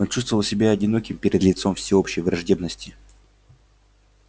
чувствовал себя одиноким перед лицом всеобщей враждебности